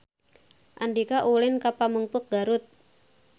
Andika ulin ka Pamengpeuk Garut